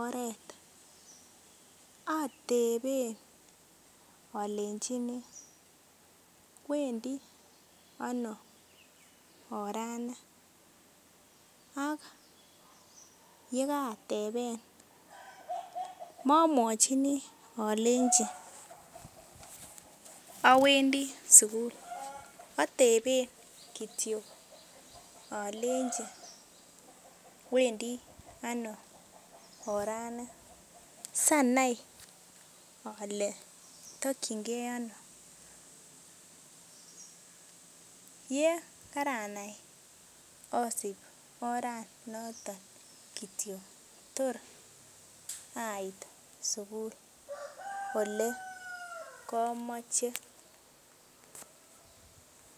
oret oteben olenchini wendi ano orani ak yekaateben momwochini alenchi awendi sugul ateben kityoki olenchi wendi ano orani sanai ole tokyin kee ano yekaranai asip orat notok kityok tor ait sugul ole komoche